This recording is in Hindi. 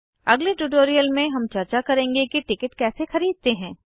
अगले ट्यूटोरियल में हम चर्चा करेंगे कि टिकट कैसे खरीदते हैं